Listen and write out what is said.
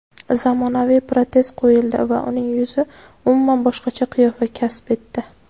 zamonaviy protez qo‘yildi va uning yuzi umuman boshqacha qiyofa kasb etdi.